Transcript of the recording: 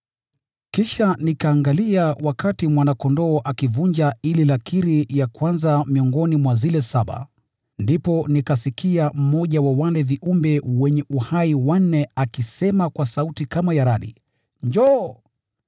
Kisha nikaangalia wakati Mwana-Kondoo akivunja ile lakiri ya kwanza miongoni mwa zile saba. Ndipo nikasikia mmoja wa wale viumbe wanne wenye uhai akisema kwa sauti kama ya radi: “Njoo!”